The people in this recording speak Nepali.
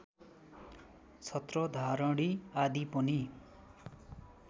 छत्रधारणि आदि पनि